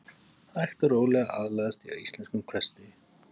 Hægt og rólega aðlagast ég íslenskum hversdegi.